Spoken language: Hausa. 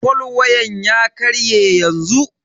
fol wayan ya karye yanzu.